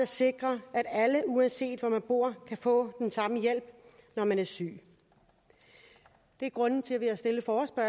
sikrer at alle uanset hvor man bor kan få den samme hjælp når man er syg det er grunden til at vi